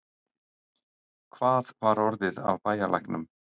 Hvað var orðið af bæjarlæknum?